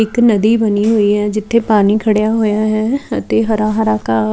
ਇੱਕ ਨਦੀ ਬਣੀ ਹੋਈ ਆ ਜਿੱਥੇ ਪਾਣੀ ਖੜਿਆਂ ਹੋਇਆ ਹੈ ਅਤੇ ਹਰਾ ਹਰਾ ਘਾਹ --